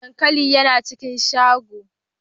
Dankalin yana cikin shagon.